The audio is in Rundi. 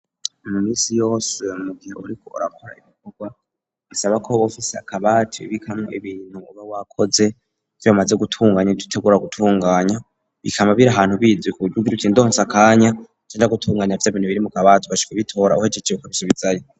Mu misi yose mu gihe uriko urakora ibikorwa bisaba ko woba ufise akabati ubikamwo ibintu uba wakoze, ivyo bamaze gutunganya, nivyo utangura gutunganya, bikaba biri ahantu bizwi, kuburyo ugiruti ndonse akanya canja gutunganya vya bintu biri mu kabati, ukaca ubitora uhejeje ukabisubizayo.